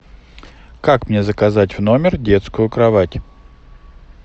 как мне заказать в номер детскую кровать